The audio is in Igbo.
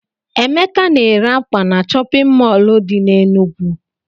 Emeka na-ere ákwà na chọpịn mọọlụ dị n'Enugwu.